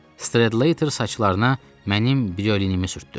Strater saçlarına mənim brilinimi sürtdü.